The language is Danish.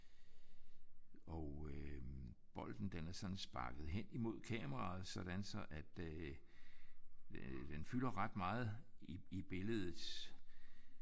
Og øh bolden den er sådan sparket hen imod kameraet sådan så at øh den fylder ret meget i billedet